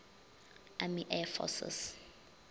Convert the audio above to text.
army air forces